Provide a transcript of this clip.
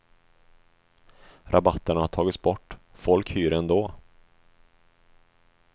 Rabatterna har tagits bort, folk hyr ändå.